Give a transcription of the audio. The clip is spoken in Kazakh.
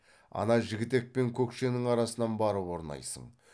ана жігітек пен көкшенің арасынан барып орнайсың